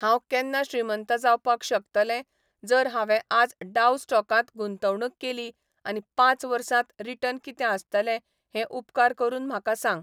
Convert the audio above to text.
हांव केन्ना श्रीमंत जावपाक शकतलें जर हांवें आज डाऊ स्टॉकात गुंतवणूक केली आनी पांच वर्सांत रीटर्न कितें आसतले हें उपकार करून म्हाका सांग